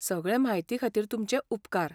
सगळे म्हायती खातीर तुमचे उपकार.